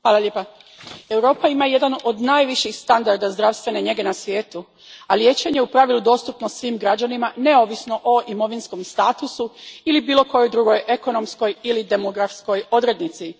Gospođo predsjednice, Europa ima jedan od najviših standarda zdravstvene njege na svijetu, a liječenje je u pravilu dostupno svim građanima neovisno o imovinskom statusu ili bilo kojoj drugoj ekonomskoj ili demografskoj odrednici.